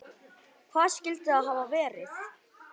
Hvað skyldi það hafa verið?